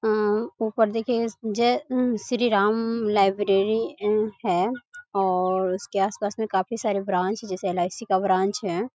अं ऊपर देखिए इस जय मम श्री राम लाइब्रेरी अं है और उसके आस-पास में काफी सारे ब्रांच जैसे एल.आई.सी. का ब्रांच है।